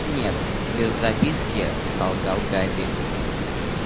нет без записки солгал гарри